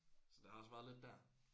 Så der har også været lidt der